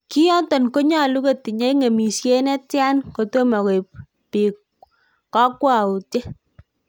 "Ki yoton konyolu kotinye ng'emisiet ne tian kotomo koib biik kokwoutiet?"